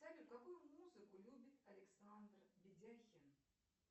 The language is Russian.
салют какую музыку любит александр ведяхин